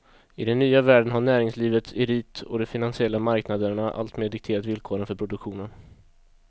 I den nya världen har näringslivets elit och de finansiella marknaderna alltmer dikterat villkoren för produktionen.